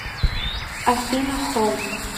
афина хоум